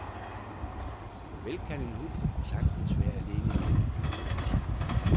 Vel kan en hund sagtens være alene hjemme i otte timer.